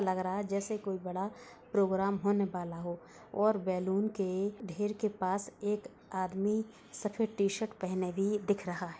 लग रहा है जैसे कोई बड़ा प्रोग्राम होने वाला हो और बैलून के ढेर के पास एक आदमी सफेद टी शर्ट पहने भी दिख रहा है।